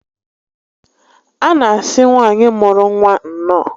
A na asị nwaanyị mụrụ nwa nnọọ